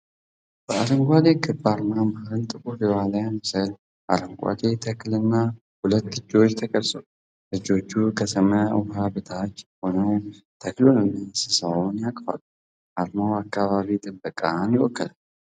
በአረንጓዴ ክብ አርማ መሃል ጥቁር የዋልያ ምስል፣ አረንጓዴ ተክልና ሁለት እጆች ተቀርጸዋል። እጆቹ ከሰማያዊ ውሃ በታች ሆነው ተክሉንና እንስሳውን ያቅፋሉ። አርማው አካባቢ ጥበቃን ይወክላል።